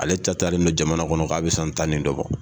Ale taa taa ni don jamana kɔnɔ k'a bi san tan nin dɔ bɔ